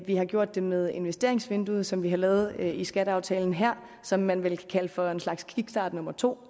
vi har gjort det med investeringsvinduet som vi har lavet i skatteaftalen her som man vel kan kalde for en slags kickstart nummer to